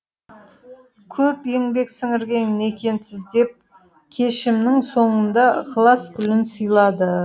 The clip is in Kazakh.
көп еңбек сіңірген екенсіз деп кешімнің соңында ықылас гүлін сыйлады